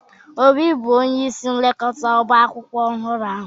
Obi bụ onye isi nlekọta ọba akwụkwọ ọhụrụ ahụ